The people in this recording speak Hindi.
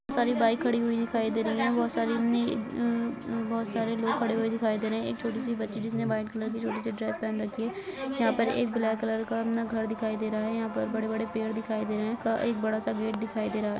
बहुत सारी बाइक खड़ी हुई दिखाई दे रही है बहुत सारे नी अ अ बहुत सारे लोग खड़े हुए दिखाई दे रहे हैं एक छोटी सी बच्ची जिसने व्हाइट कलर की छोटी सी ड्रेस पहन रखी है यहां पर एक ब्लॅक कलर का अपना घर दिखाई दे रहा है यहां पर बड़े बड़े पेड़ दिखाई दे रहे हैं क एक बड़ा सा गेट दिखाई दे रहा है।